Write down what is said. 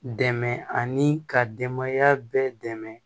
Dɛmɛ ani ka denbaya bɛɛ dɛmɛ